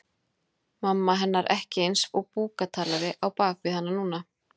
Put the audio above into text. Mamma hennar ekki eins og búktalari á bak við hana núna.